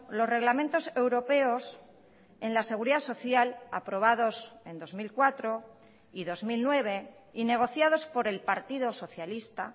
los reglamentos europeos en la seguridad social aprobados en dos mil cuatro y dos mil nueve y negociados por el partido socialista